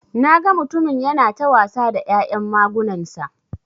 Naga mutumin yana ta wasa da ya'yan magunansa.